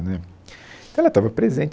Né, Então ela estava presente.